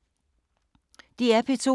DR P2